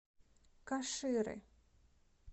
каширы